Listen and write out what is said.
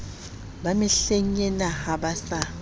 ba mehlengena ha ba sa